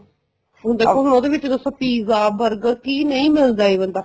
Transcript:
ਹੁਣ ਦੇਖੋ ਹੁਣ ਉਹਦੇ ਵਿੱਚ ਦੇਖੋ pizza burger ਕੀ ਨਹੀਂ ਮਿਲਦਾ even ਤਾਂ